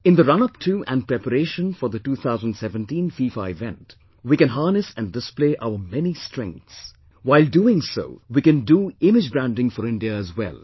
In the runup to and preparation for the 2017 FIFA event, we can harness and display our many strengths; while doing so, we can do imagebranding for India as well